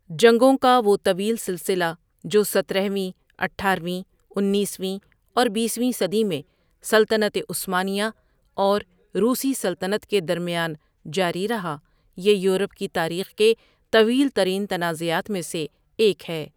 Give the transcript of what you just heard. جنگوں کا وہ طویل سلسلہ جو سترہ ویں، اٹھارویں، اُنیس ویں اور بیس ویں صدی میں سلطنت عثمانیہ اور روسی سلطنت کے درمیان جاری رہا یہ یورپ کی تاریخ کے طویل ترین تنازعات میں سے ایک ہے.